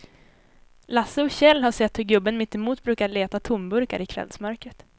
Lasse och Kjell har sett hur gubben mittemot brukar leta tomburkar i kvällsmörkret.